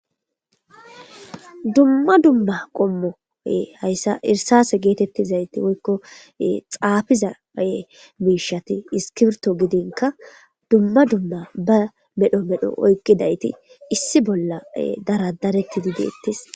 dumma dumma qommo hayssa irsase geetettizayti woykko xaafizae miishati iskirto gidinka dumma dumma ba medho medho oykkidayti issi bolla daradaretidi deettis